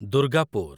Durgapur